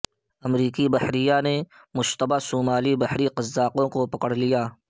امریکی بحریہ نے مشتبہ صومالی بحری قزاقوں کو پکڑ لیا